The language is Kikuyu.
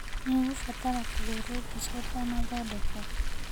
Nĩ ũgũbatara kũhũrwo bica ũtanathondekwo.